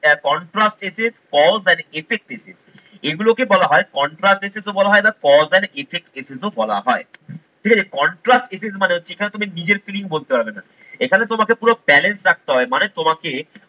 a contrast essay cause an effect essay এগুলোকে বলা হয় contrast essay তো বলা হয় না cause and effect essays ও বলা হয়। ঠিক আছে contrast essay মানে হচ্ছে যেখানে তুমি নিজের feeling বলতে পারবে না। এখানে তোমাকে পুরো balance রাখতে হয় মানে তোমাকে